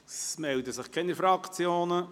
Es melden sich keine Fraktionen.